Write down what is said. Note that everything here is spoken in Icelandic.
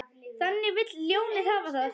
Þannig vill ljónið hafa það.